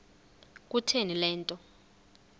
kutheni le nto